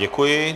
Děkuji.